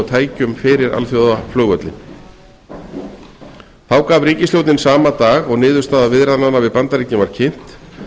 tækjum fyrir alþjóðaflugvöllinn í keflavík þá gaf ríkisstjórnin sama dag og niðurstaða viðræðnanna við bandaríkin var kynnt